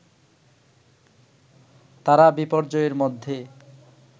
তারা বিপর্যয়ের মধ্যে